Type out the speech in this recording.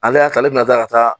Ale y'a ta ale bina kila ka taa